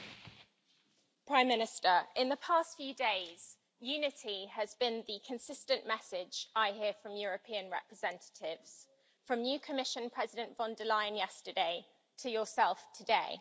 Mr President, Prime Minister, in the past few days, unity has been the consistent message I hear from European representatives, from new Commission President von der Leyen yesterday to yourself today.